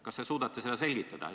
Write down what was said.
Kas te suudate seda selgitada?